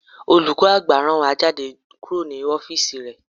Olùkọ́ àgbà rán wa jáde kúrò ní ọ́físì rẹ̀